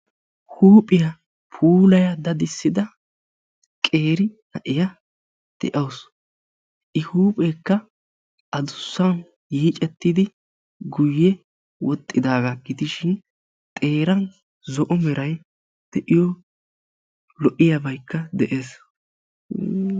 Huuphphiyaa puulaya dadidssidda keeri na'iyaa de'assu, i huuphphekka addussan yiicettidi guye woxidagga gidishshin xeeran zo'o meray de'iyoo lo'iyaabaykka de'es.